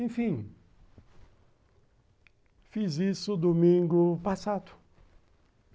Enfim, fiz isso domingo passado.